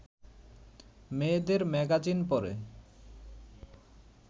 মেয়েদের ম্যাগাজিন পড়ে